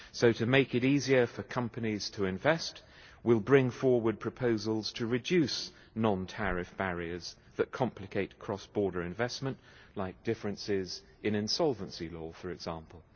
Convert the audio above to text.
So, to make it easier for companies to invest, we will bring forward proposals to reduce non-tariff barriers that complicate cross-border investment, like differences in insolvency law for example.